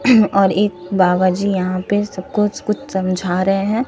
और एक बाबाजी यहां पे सबको स कुछ समझा रहे हैं।